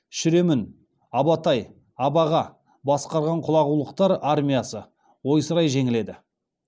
шіремүн абатай абаға басқарған құлағулықтар армиясы ойсырай жеңіледі